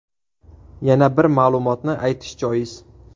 Yana bir ma’lumotni aytish joiz.